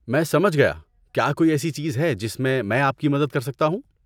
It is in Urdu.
میں سمجھ گیا، کیا کوئی ایسی چیز ہے جس میں میں آپ کی مدد کر سکتا ہوں؟